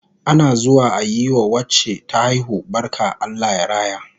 Ana zuwa ayi wa wacce ta haihu barka Allah ya raya